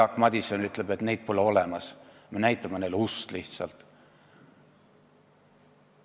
Jaak Madison ütleb, et neid pole olemas ja me näitame neile lihtsalt ust.